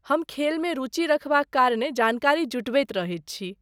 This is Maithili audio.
हम खेलमे रुचि रहबाक कारणेँ जानकारी जुटबैत रहैत छी।